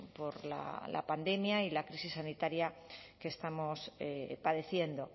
por la pandemia y la crisis sanitaria que estamos padeciendo